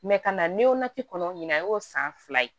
ka na kɔnɔ ɲina e y'o san fila ye